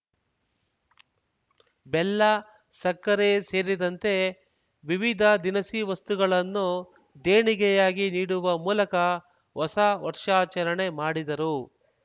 ಬೆಲ್ಲ ಸಕ್ಕರೆ ಸೇರಿದಂತೆ ವಿವಿಧ ದಿನಸಿ ವಸ್ತುಗಳನ್ನು ದೇಣಿಗೆಯಾಗಿ ನೀಡುವ ಮೂಲಕ ಹೊಸ ವರ್ಷಾಚರಣೆ ಮಾಡಿದರು